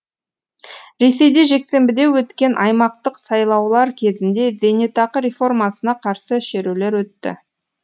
ресейде жексенбіде өткен аймақтық сайлаулар кезінде зейнетақы реформасына қарсы шерулер өтті